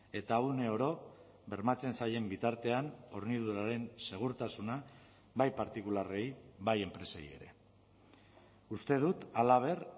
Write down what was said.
eta uneoro bermatzen zaien bitartean horniduraren segurtasuna bai partikularrei bai enpresei ere uste dut halaber